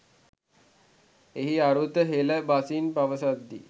එහි අරුත් හෙළ බසින් පවසද්දී